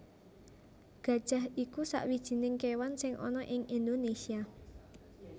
Gajah iku sawijining kéwan sing ana ing Indonésia